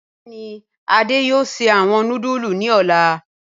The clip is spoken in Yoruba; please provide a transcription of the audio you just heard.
Bẹẹni Ade yoo sẹ awọn nudulu ni ọla.